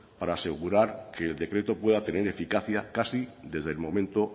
para asegurar que el decreto pueda tener eficacia casi desde el momento